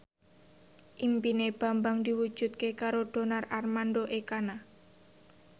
impine Bambang diwujudke karo Donar Armando Ekana